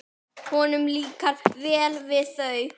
Honum líkar vel við þau.